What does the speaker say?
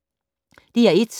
DR1